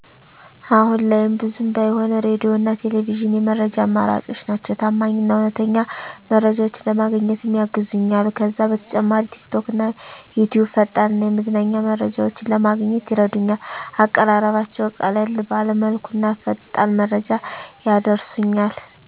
አሁን ላይም ብዙም ባይሆን ሬዲዮና ቴሌቪዥን የመረጃ አማራጮቼ ናቸው። ታማኝ እና እውነተኛ መረጃዎችን ለማግኘትም ያግዙኛል። ከዛ በተጨማሪ ቲክቶክና ዩትዩብ ፈጣን እና የመዝናኛ መረጃዎችን ለማግኘት ይረዱኛል፣ አቀራረባቸው ቀለል ባለ መልኩና ፈጣን መረጃ ያደርሱኛል።